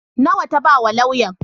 Nawa ta ba wa lauyan?